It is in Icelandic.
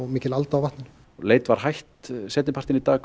mikil alda á vatninu leit var hætt seinni partinn í dag